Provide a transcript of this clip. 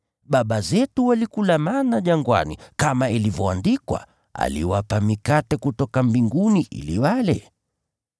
Baba zetu walikula mana jangwani, kama ilivyoandikwa, ‘Aliwapa mikate kutoka mbinguni ili wale.’ ”